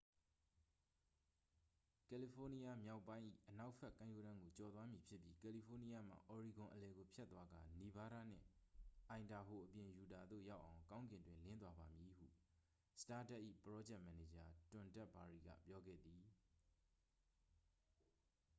"""ကယ်လီဖိုးနီးယားမြောက်ပိုင်း၏ အနောက်ဘက် ကမ်းရိုးတန်းကို ကျော်သွားမည်ဖြစ်ပြီး ကယ်လီဖိုးနီးယားမှ အော်ရီဂွန်အလယ်ကို ဖြတ်သွားကာ နီဗားဒါးနှင့် အိုင်ဒါဟိုအပြင် ယူတာသို့ ရောက်အောင် ကောင်းကင်တွင် လင်းသွားပါမည်" ဟု စတားဒတ်၏ ပရောဂျက်မန်နေဂျာ တွမ်ဒက်ဘာရီက ပြောခဲ့သည်။